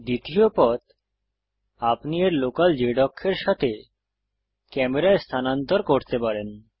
দ্বিতীয় পথ আপনি এর লোকাল z অক্ষের সাথে ক্যামেরা স্থানান্তর করতে পারেন